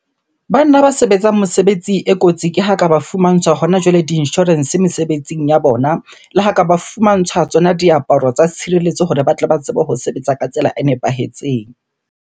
Banna ba sebetsang mosebetsi e kotsi ke ha ka ba fumantshwa hona jwale di-insurance mesebetsing ya bona. Le ha ka ba fumantshwa tsona diaparo tsa tshireletso hore ba tle ba tsebe ho sebetsa ka tsela e nepahetseng.